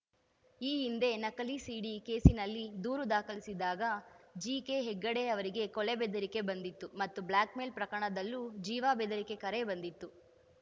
ಈ ಹಿಂದೆ ನಕಲಿ ಸಿಡಿ ಕೇಸಿನಲ್ಲಿ ದೂರು ದಾಖಲಿಸಿದಾಗ ಜಿಕೆಹೆಗಡೆ ಅವರಿಗೆ ಕೊಲೆ ಬೆದರಿಕೆ ಬಂದಿತ್ತು ಮತ್ತು ಬ್ಲ್ಯಾಕ್‌ ಮೇಲ ಪ್ರಕರಣದಲ್ಲೂ ಜೀವ ಬೆದರಿಕೆ ಕರೆ ಬಂದಿತ್ತು